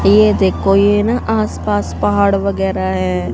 ये देखो ये ना आसपास पहाड़ वगैरह है।